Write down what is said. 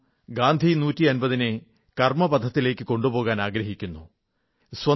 നാം ഗാന്ധി 150 നെ കർമ്മപഥത്തിലേക്കു കൊണ്ടുപോകാനാഗ്രഹിക്കുന്നു